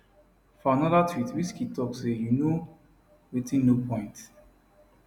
for anoda tweet wizkid tok say you know wetinno point